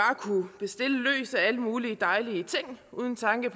alle mulige dejlige ting uden tanke